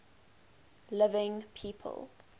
living people